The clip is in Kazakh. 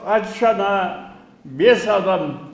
ат шана бес адам